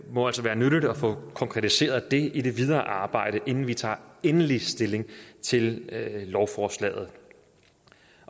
må altså være nyttigt at få konkretiseret det i det videre arbejde inden vi tager endelig stilling til lovforslaget